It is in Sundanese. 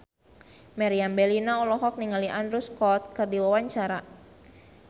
Meriam Bellina olohok ningali Andrew Scott keur diwawancara